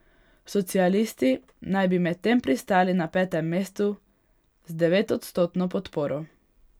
Socialisti naj bi medtem pristali na petem mestu z devetodstotno podporo.